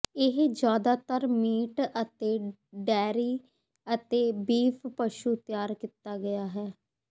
ਇਹ ਜਿਆਦਾਤਰ ਮੀਟ ਅਤੇ ਡੇਅਰੀ ਅਤੇ ਬੀਫ ਪਸ਼ੂ ਤਿਆਰ ਕੀਤਾ ਗਿਆ ਹੈ